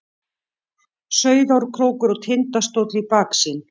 Sauðárkrókur og Tindastóll í baksýn.